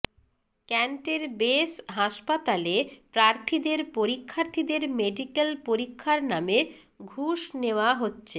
ক্যান্টের base হাসপাতালে প্রার্থীদের পরীক্ষার্থীদের মেডিকেল পরীক্ষার নামে ঘুষ নেওয়া হচ্ছে